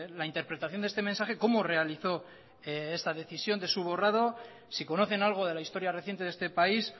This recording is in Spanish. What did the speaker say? la interpretación de este mensaje cómo realizó esta decisión de su borrado si conocen algo de la historia reciente de este país